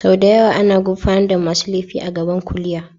Sau da yawa ana gurfanar da masu laifi a gaban kuliya.